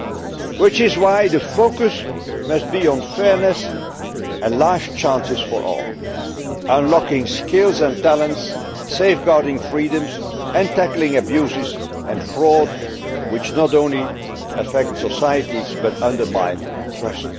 This is why the focus must be on fairness and life chances for all, on unlocking skills and talents, on safeguarding freedoms, and on tackling abuses and fraud, which not only affect societies but undermine trust.